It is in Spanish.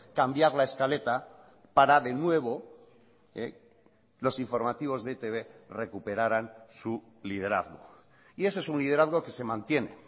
cambiar la escaleta para de nuevo los informativos de etb recuperaran su liderazgo y eso es un liderazgo que se mantiene